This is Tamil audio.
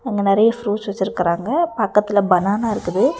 அங்க நெறைய ஃப்ரூட்ஸ் வெச்சிருக்குறாங்க. பக்கத்துல பனானா இருக்குது.